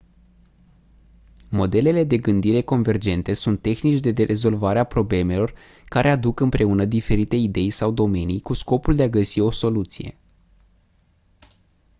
modelele de gândire convergente sunt tehnici de rezolvare a problemelor care aduc împreună diferite idei sau domenii cu scopul de a găsi o soluție